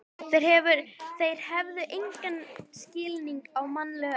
Þeir hefðu engan skilning á mannlegu eðli.